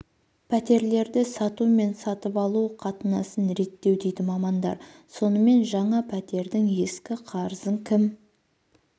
пәтерлерді сату мен сатып алу қатынасын реттеу дейді мамандар сонымен жаңа пәтердің ескі қарызын кім